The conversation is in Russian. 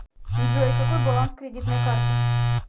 джой какой баланс кредитной карты